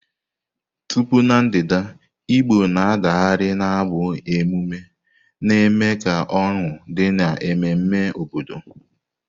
Tupu Na ndịda, Igbo na-adagharị n'abụ emume na-eme ka ọñụ dị n'ememme obodo.